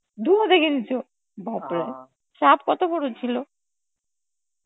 Hindi দেখে নিছ, বাপরে! সাপ কত বড় ছিল?